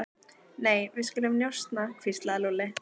Nei, við skulum njósna hvíslaði Lúlli.